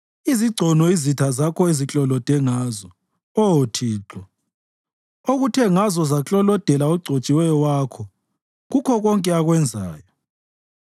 izigcono izitha zakho eziklolode ngazo, Oh Thixo, okuthe ngazo zaklolodela ogcotshiweyo wakho kukho konke akwenzayo.